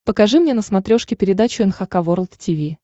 покажи мне на смотрешке передачу эн эйч кей волд ти ви